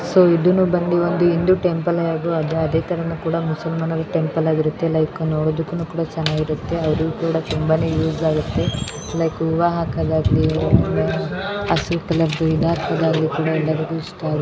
So ಇದನ್ನು ಬಂದಿ ಒಂದು ಹಿಂದೂ ಟೆಂಪಲ್ ಅದೇ ತರನು ಕುಡ ಮುಸಲ್ಮಾನರ ಟೆಂಪಲ್ ಆಗಿರುತ್ತೆ ಲೈಕ್ ನೋಡೋದಕ್ಕೂ ಕೂಡ ಚೆನ್ನಾಗಿರುತ್ತೆ ಅವರ್ಗೂನು ಕೂಡ ತುಂಬಾ ಯೂಸ್ ಆಗುತ್ತೆ ಲೈಕ್ ಹೂವ ಹಾಕದಾಗ್ಲಿ ಹಸಿರು ಕಲರ್ ಇದಾಕದಾಗ್ಲಿ ಎಲ್ಲರಿಗೂ ಇಷ್ಟ ಆಗುತ್ತೆ .